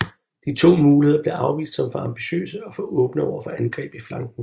De første to muligheder blev afvist som for ambitiøse og for åbne overfor angreb i flanken